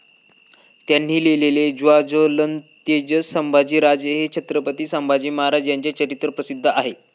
त्यांनी लिहिलेले 'ज्वाज्वलंतेजस सांभाजीराजे' हे छत्रपती संभाजी महाराज यांचे चरित्र प्रसिद्ध आहे.